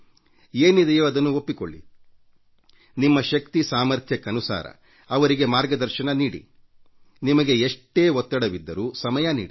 ಏನಿದೆಯೋ ಅದನ್ನು ಒಪ್ಪಿಕೊಳ್ಳಿ ನಿಮ್ಮ ಶಕ್ತಿ ಸಾಮರ್ಥ್ಯಕ್ಕನುಸಾರ ಅವರಿಗೆ ಮಾರ್ಗದರ್ಶನ ನೀಡಿ ನಿಮಗೆ ಎಷ್ಟೇ ಒತ್ತಡವಿದ್ದರೂ ಸಮಯ ನೀಡಿ